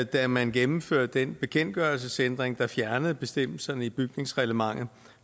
da man gennemførte den bekendtgørelsesændring der fjernede bestemmelserne i bygningsreglementet